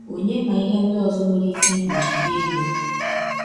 Ònye ma ihe ndị ọzọ nwere ike igbochi gị ịbịa?